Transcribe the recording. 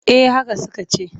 Eh haka suka ce.